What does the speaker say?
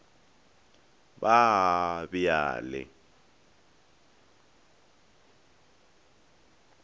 ba a be a le